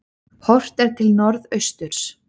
Horft er til norðausturs.